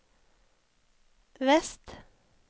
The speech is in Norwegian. vest